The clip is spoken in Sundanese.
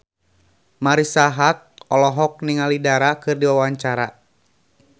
Marisa Haque olohok ningali Dara keur diwawancara